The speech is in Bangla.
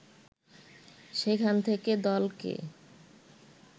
সেখান থেকে দলকে